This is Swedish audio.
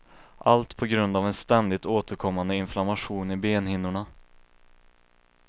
Allt på grund av en ständigt återkommande inflammation i benhinnorna.